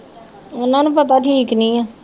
ਉਹਨਾਂ ਨੂੰ ਪਤਾ ਠੀਕ ਨੀ ਹੈ